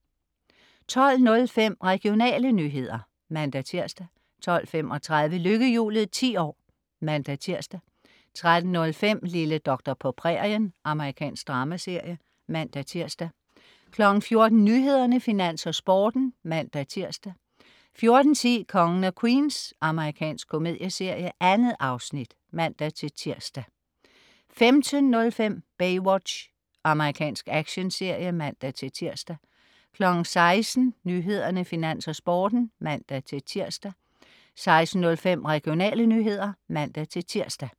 12.05 Regionale nyheder (man-tirs) 12.35 Lykkehjulet 10 år (man-tirs) 13.05 Lille doktor på prærien. Amerikansk dramaserie (man-tirs) 14.00 Nyhederne, Finans, Sporten (man-tirs) 14.10 Kongen af Queens. Amerikansk komedieserie. 2 afsnit (man-tirs) 15.05 Baywatch. Amerikansk actionserie (man-tirs) 16.00 Nyhederne, Finans, Sporten (man-tirs) 16.05 Regionale nyheder (man-tirs)